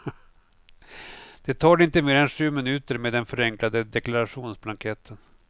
Det tar dig inte mer än sju minuter med den förenklade deklarationsblanketten.